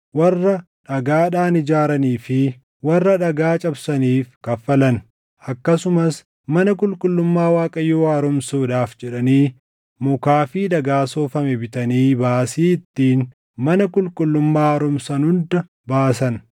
warra dhagaadhaan ijaaranii fi warra dhagaa cabsaniif kaffalan. Akkasumas mana qulqullummaa Waaqayyoo haaromsuudhaaf jedhanii mukaa fi dhagaa soofame bitanii baasii ittiin mana qulqullummaa haaromsan hunda baasan.